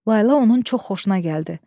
Layla onun çox xoşuna gəldi.